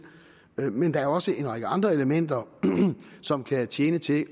men der er også en række andre elementer som kan tjene til